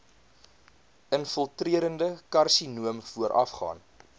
infiltrerende karsinoom voorafgaan